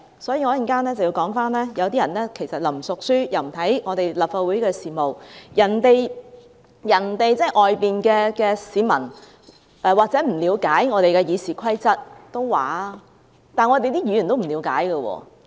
所以，我稍後要說，有些人既不熟書，又不看立法會事務，外面的市民或許不了解《議事規則》，但連議員也不了解。